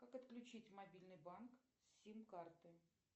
как отключить мобильный банк с сим карты